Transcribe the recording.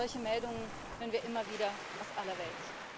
Solche Meldungen hören wir immer wieder aus aller Welt.